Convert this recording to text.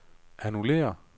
annullér